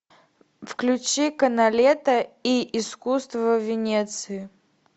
включи каналетто и искусство венеции